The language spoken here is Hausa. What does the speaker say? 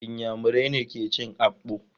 Inyamurai ne ke cin Akpu.